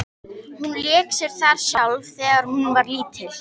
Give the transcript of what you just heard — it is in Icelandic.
Hún lék sér þar sjálf þegar hún var lítil.